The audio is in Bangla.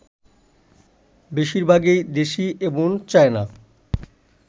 বেশিরভাগই দেশি এবং চায়না